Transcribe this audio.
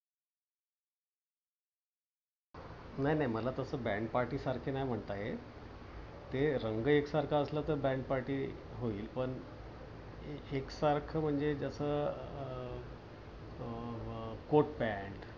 नाही नाही मला तसं band party सारखे नाही म्हणता येत. ते रंग एकसारखा असलं तर band party होईल. पण एकसारखं म्हणजे कस अं coat pant